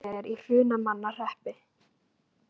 Flúðir er í Hrunamannahreppi.